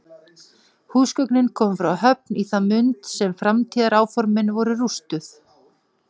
Húsgögnin komu frá Höfn í það mund sem framtíðaráformin voru rústuð.